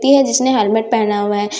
ती है जिसने हेलमेट पहना हुआ है।